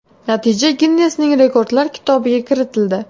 Natija Ginnesning rekordlar kitobiga kiritildi.